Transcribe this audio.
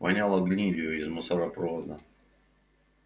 воняло гнилью из мусоропровода